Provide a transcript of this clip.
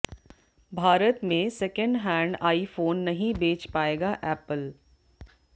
भारत में second hand iPhone नहीं बेच पायेगा एप्पल